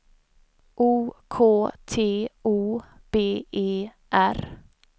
O K T O B E R